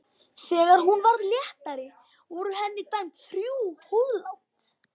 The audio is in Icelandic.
Þegar hún varð léttari voru henni dæmd þrjú húðlát.